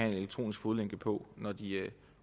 en elektronisk fodlænke på når de